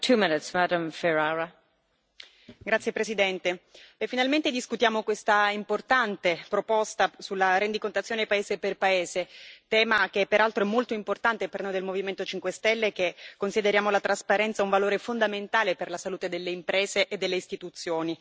Signora Presidente, onorevoli colleghi, finalmente discutiamo questa importante proposta sulla rendicontazione paese per paese, tema che peraltro è molto importante per noi del Movimento 5 Stelle, che consideriamo la trasparenza un valore fondamentale per la salute delle imprese e delle istituzioni.